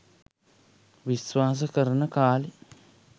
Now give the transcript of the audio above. විස්වාස කරන කාලේ